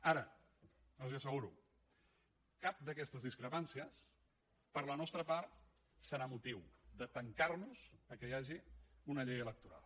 ara els ho asseguro cap d’aquestes discrepàncies per la nostra part serà motiu de tancar nos al fet que hi hagi una llei electoral